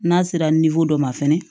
N'a sera dɔ ma fɛnɛ